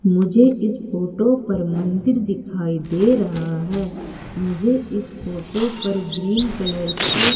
मुझे इस फोटो पर मंदिर दिखाई दे रहा है मुझे इस फोटो पर ग्रीन कलर के--